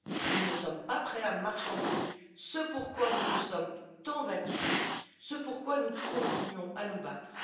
Nous ne sommes pas prêts à marchander ce pourquoi nous nous sommes tant battus, ce pourquoi nous continuons à nous battre.